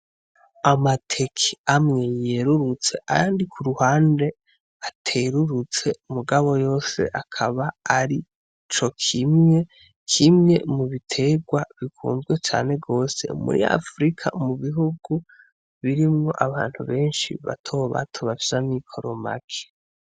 Amateke amwe yerurutse ayandi ku ruhande aterurutse mugabo yose akaba ari cokimwe. Kimwe mu biterwa bikunzwe cane gose muri Afrika, mu bihugu birimwo abantu benshi batobato, bafise amikoro make.